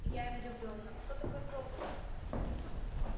я им удивлённо какой такой пропуск